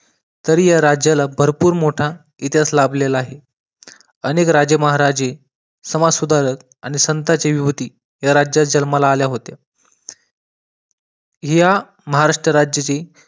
तरी या राज्याला भरपूर मोठा इतिहास लाभलेला आहे. अनेक राजे महाराजे समाज सुधारक आणि संतांची विभूति या राज्यात जन्माला आले होते. या महाराष्ट्र राज्ये ची